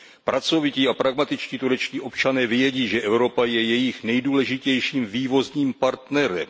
Pracovití a pragmatičtí turečtí občané vědí, že Evropa je jejich nejdůležitějším vývozním partnerem.